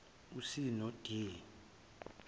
c no d